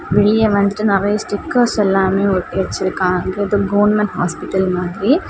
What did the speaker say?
வெளிய வந்துட்டு நறைய ஸ்டிக்கர்ஸ் எல்லாமே ஒட்டி வச்சிருக்காங்க எதோ கவர்மென்ட் ஹாஸ்பிட்டல் மாதிரி.